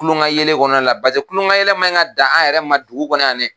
Kulon ka yɛlɛ kɔnɔna la. Paseke kulon ka yɛlɛ man ka dan an yɛrɛ ma dugu kɔnɔ yan dɛ!